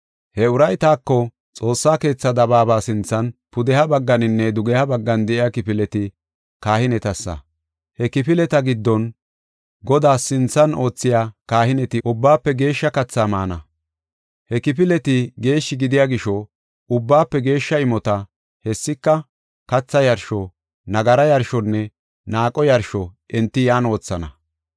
He uray taako, “Xoossa keethaa dabaaba sinthan, pudeha bagganinne dugeha baggan de7iya kifileti kahinetassa. He kifileta giddon Godaa sinthan oothiya kahineti ubbaafe geeshsha kathaa maana. He kifileti geeshshi gidiya gisho, ubbaafe geeshsha imota, hessika katha yarsho, nagara yarshonne naaqo yarsho enti yan wothana.